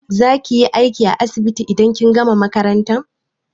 Za kiyi aiki a asibiti idan kin gama makaranta?